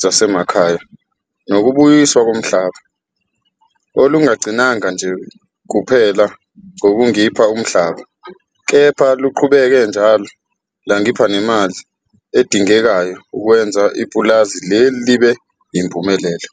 zaseMakhaya nokuBuyiswa koMhlaba, olungagcinanga nje kuphela ngokungipha umhlaba, kepha luqhubeke njalo lwangipha nemali edingekayo ukwenza ipulazi lelo libe yimpumelelo.